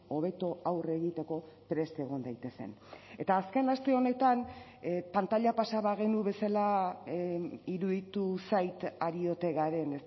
hobeto aurre egiteko prest egon daitezen eta azken aste honetan pantaila pasa bagenu bezala iruditu zait ari ote garen